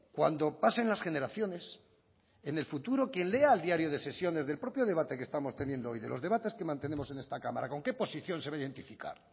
cuando pasen las generaciones en el futuro quién lea el diario de sesiones del propio debate que estamos teniendo hoy de los debates que mantenemos en esta cámara con qué posición se va a identificar